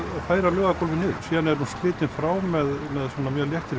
færa laugargólfið niður síðan var hún slitin frá með léttri